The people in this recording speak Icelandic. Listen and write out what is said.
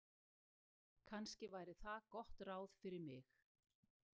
Kannski væri það gott ráð fyrir mig.